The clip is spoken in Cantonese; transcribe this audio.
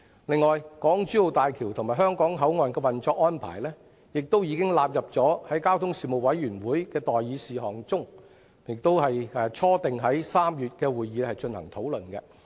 此外，港珠澳大橋香港口岸的運作安排已經納入了交通事務委員會的待議事項中，並初定在3月的會議進行討論。